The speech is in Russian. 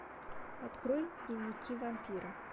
открой дневники вампира